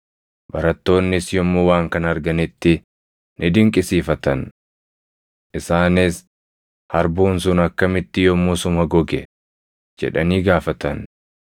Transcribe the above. Barattoonnis yommuu waan kana arganitti ni dinqisiifatan. Isaanis, “Harbuun sun akkamitti yommusuma goge?” jedhanii gaafatan.